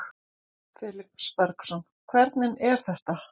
Felix Bergsson: Hvernig er þetta?